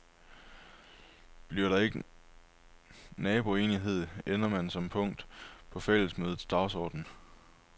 Bliver der ikke naboenighed, ender man som punkt på fællesmødets dagsorden.